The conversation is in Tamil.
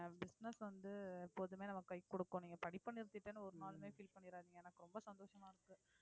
business வந்து எப்போதுமே நமக்கு கை கொடுக்கும் நீங்க படிப்பை நிறுத்திட்டேன்னு ஒரு நாளும் feel பண்ணாராதீங்க எனக்கு ரொம்ப சந்தோசமா இருக்கு